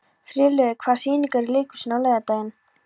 Friðlaugur, hvaða sýningar eru í leikhúsinu á laugardaginn?